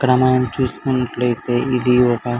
ఇక్కడ మనం చూస్కున్నట్లయితే ఇది ఒక --